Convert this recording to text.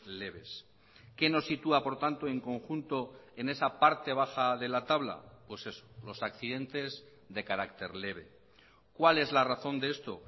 leves qué nos sitúa por tanto en conjunto en esa parte baja de la tabla pues eso los accidentes de carácter leve cuál es la razón de esto